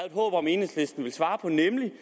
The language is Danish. et håb om enhedslisten ville svare på nemlig